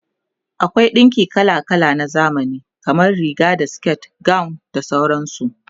akwai ɗinki kala kala na zamani, kamar Riga da siket, gawon da sauransu